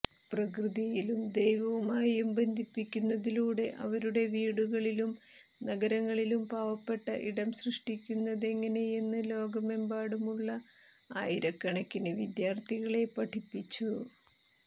പ്രകൃതിയിലും ദൈവവുമായും ബന്ധിപ്പിക്കുന്നതിലൂടെ അവരുടെ വീടുകളിലും നഗരങ്ങളിലും പാവപ്പെട്ട ഇടം സൃഷ്ടിക്കുന്നതെങ്ങനെയെന്ന് ലോകമെമ്പാടുമുള്ള ആയിരക്കണക്കിന് വിദ്യാർത്ഥികളെ പഠിപ്പിച്ചു